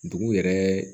Dugu yɛrɛ